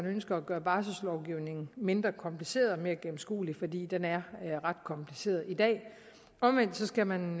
ønsker at gøre barselslovgivningen mindre kompliceret og mere gennemskuelig fordi den er ret kompliceret i dag omvendt skal man